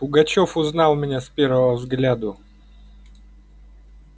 пугачёв узнал меня с первого взгляду